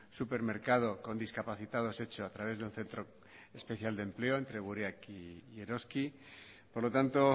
supermercado con discapacitados hecho a través de un centro especial de empleo entre gureak y eroski por lo tanto